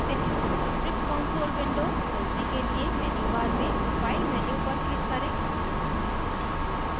script console window खोलने के लिए menu bar में file menu पर click करें